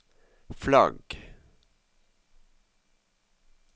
flagg